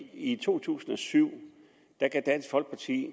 i to tusind og syv gav dansk folkeparti